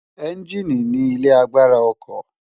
Ènjìní ni ilé àgbárá òkò